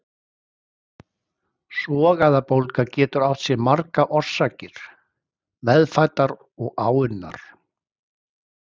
Sogæðabólga getur átt sér margar orsakir, meðfæddar og áunnar.